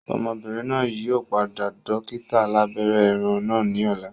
Ọmọbìnrin náà yìí ó pàdé dókítà alàbẹ́rẹ́ ẹran náà ni ọ̀la